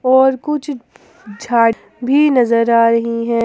और कुछ झाड़ भी नजर आ रही है।